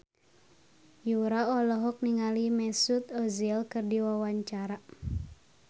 Yura olohok ningali Mesut Ozil keur diwawancara